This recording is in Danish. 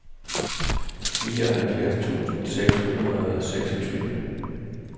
nioghalvfjerds tusind seks hundrede og seksogtyve